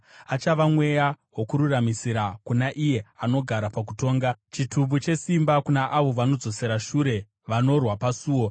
Achava mweya wokururamisira kuna iye anogara pakutonga, chitubu chesimba kuna avo vanodzosera shure vanorwa pasuo.